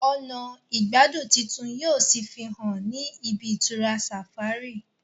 ọnà igbadun títún yíò sí fihàn ní ibi-itura safari